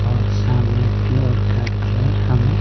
और सामने फ्लोर का कलर हमें--